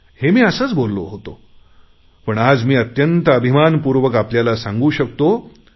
हे मी असेच बोललो होतो पण आज मी अत्यंत अभिमानपूर्वक आपल्याला सांगू शकतो